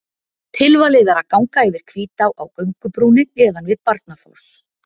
Tilvalið er að ganga yfir Hvítá á göngubrúnni neðan við Barnafoss.